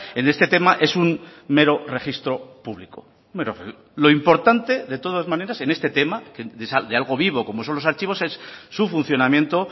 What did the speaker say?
en este tema es un mero registro público lo importante de todas maneras en este tema que de algo vivo como son los archivos es su funcionamiento